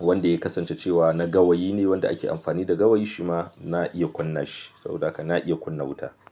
wanda ya kasance cewa na gawayi ne wanda ake amfani da gawayi, shi ma na iya kunna shi. Saboda haka na iya kunna wuta.